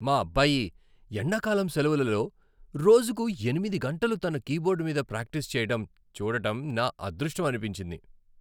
మా అబ్బాయి ఎండకాలం సెలవులలో రోజుకు ఎనిమిది గంటలు తన కీబోర్డ్ మీద ప్రాక్టీస్ చేయడం చూడటం నా అదృష్టం అనిపించింది.